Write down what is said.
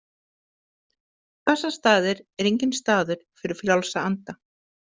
Bessastaðir eru enginn staður fyrir frjálsa anda.